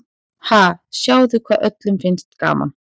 Ha, sjáðu hvað öllum finnst gaman.